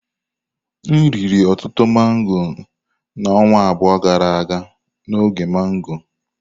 M riri ọtụtụ mango na ọnwa abụọ gara aga n'oge mango.